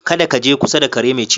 Kada kaje kusa da kare mai cizo.